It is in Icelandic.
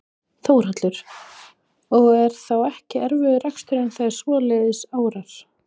Þórhallur: Og er þá ekki erfiður reksturinn þegar svoleiðis árar?